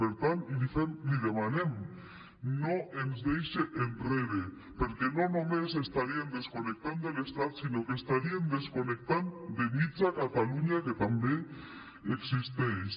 per tant li demanem no ens deixe enrere perquè no només estaríem desconnectant de l’estat sinó que estaríem desconnectant de mitja catalunya que també existeix